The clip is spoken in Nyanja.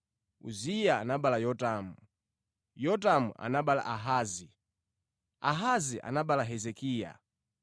Uziya anabereka Yotamu, Yotamu anabereka Ahazi, Ahazi anabereka Hezekiya.